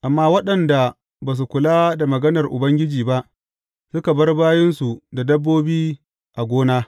Amma waɗanda ba su kula da maganar Ubangiji ba, suka bar bayinsu da dabbobi a gona.